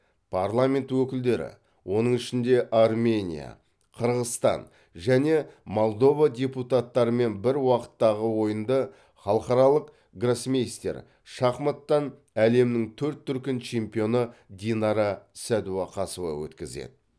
парламент өкілдері оның ішінде армения қырғызстан және молдова депутаттарымен бір уақыттағы ойынды халықаралық гроссмейстер шахматтан әлемнің төрт дүркін чемпионы динара сәдуақасова өткізеді